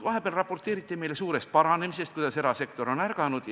Vahepeal raporteeriti meile suurest paranemisest – erasektor on ärganud!